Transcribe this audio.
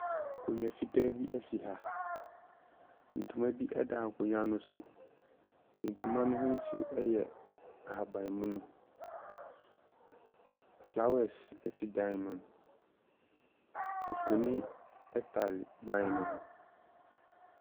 Akonnwa fitaa bi si ha. Ntomabi da akonnwa no so. Ntoma no ho nsuo yɛ ahabammono. A Flowers si dan no mu. Mfonin tare ban no ho.